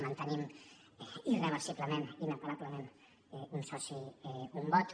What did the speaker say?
mantenim irreversiblement inapel·lablement un soci un vot